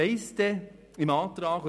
Hinzu kommt: